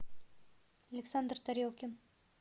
александр тарелкин